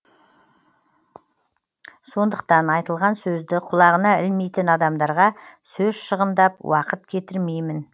сондықтан айтылған сөзді құлағына ілмейтін адамдарға сөз шығындап уақыт кетірмеймін